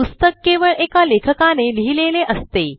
पुस्तक केवळ एका लेखकाने लिहिलेले असते